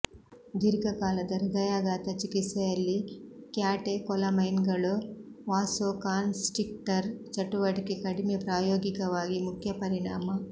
ದೀರ್ಘಕಾಲದ ಹೃದಯಾಘಾತ ಚಿಕಿತ್ಸೆಯಲ್ಲಿ ಕ್ಯಾಟೆಕೊಲಮೈನ್ಗಳು ವಾಸೊಕಾನ್ಸ್ಟ್ರಿಕ್ಟರ್ ಚಟುವಟಿಕೆ ಕಡಿಮೆ ಪ್ರಾಯೋಗಿಕವಾಗಿ ಮುಖ್ಯ ಪರಿಣಾಮ